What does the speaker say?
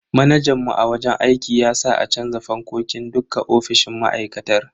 Manajan mu a wajen aiki ya sa a canza fankokin dukka ofisoshin ma'aikatar.